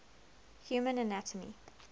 human anatomy